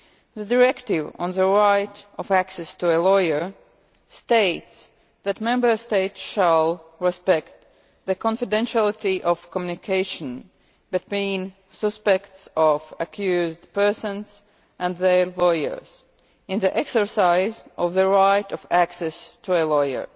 The EU directive on the right of access to a lawyer states that Member States shall respect the confidentiality of communication between suspects or accused persons and their lawyers in the exercise of their right of access to a lawyer.